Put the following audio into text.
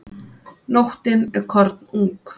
Nóttin er kornung.